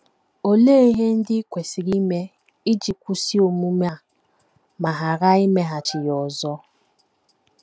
Olee ihe ndị i kwesịrị ime iji kwụsị omume a, ma ghara imeghachi ya ọzọ?